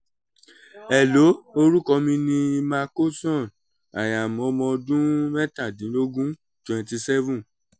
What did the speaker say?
hello orúkọ mi ni emma coxon i am ọmọ ọdún mẹ́tàdínlógún twenty seven